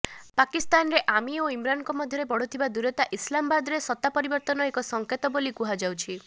ପାକିସ୍ଥାନରେ army ଓ ଇମ୍ରାନଙ୍କ ମଧ୍ୟରେ ବଢୁଥିବା ଦୂରତା ଇସଲାମବାଦରେ ସତ୍ତା ପରିବର୍ତ୍ତନ ଏକ ସଂକେତ ବୋଲି କୁହାଯାଉଛି